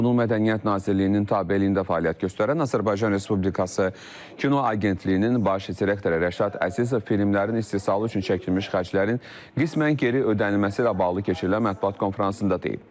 Bunun Mədəniyyət Nazirliyinin tabeliyində fəaliyyət göstərən Azərbaycan Respublikası Kino Agentliyinin baş direktoru Rəşad Əzizov filmlərin istehsalı üçün çəkilmiş xərclərin qismən geri ödənilməsi ilə bağlı keçirilən mətbuat konfransında deyib.